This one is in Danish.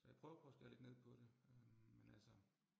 Så jeg prøver på at skære lidt ned på det øh men altså